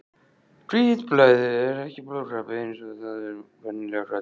Hvítblæði er ekki blóðkrabbi eins og það er venjulega kallað.